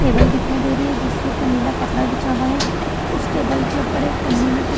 table दिखाई दे रही है जिसके ऊपर एक नीला कपड़ा बिछा हुआ है उस टेबल के ऊपर एक पन्नी में कुछ --